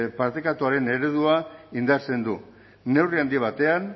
partekatuaren eredua indartzen du neurri handi batean